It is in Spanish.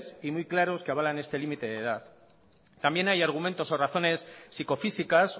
y muy claros que avalan este límite de edad también hay argumentos o razones psicofísicas